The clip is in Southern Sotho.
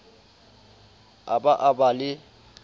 a ba a ba le